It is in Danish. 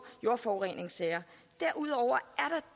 jordforureningssager derudover